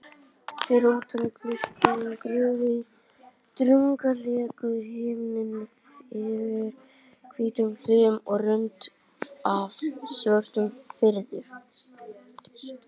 Fyrir utan gluggann grúfði drungalegur himinn yfir hvítum hlíðum og rönd af svörtum firði.